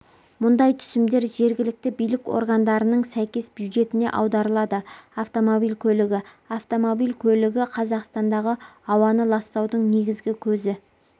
мұндай түсімдер жергілікті билік органдарының сәйкес бюджетіне аударылады автомобиль көлігі автомобиль көлігі қазақстандағы ауаны ластаудың негізгі көзі